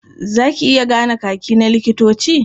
Za ka iya gane Kaki na likitoci? Can you identify the uniform of doctors?